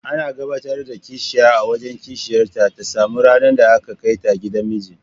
Ana gabatar da kishiya a wajen kishiyarta ta sama ranar da aka kaita gidan miji.